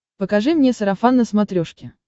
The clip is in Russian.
покажи мне сарафан на смотрешке